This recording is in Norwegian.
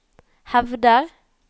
hevder